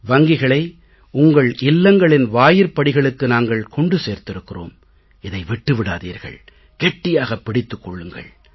வங்கிகளை உங்கள் இல்லங்களின் வாயிற்படிகளுக்கு நாங்கள் கொண்டு சேர்த்திருக்கிறோம் இதை விட்டு விடாதீர்கள் கெட்டியாகப் பிடித்துக் கொள்ளுங்கள்